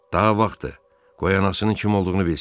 Daha vaxtdır, qoy anasının kim olduğunu bilsin.